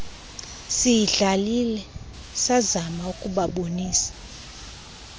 siyidlalile sazama ukubabonisa